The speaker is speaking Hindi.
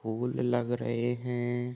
फूल लग रहे है ।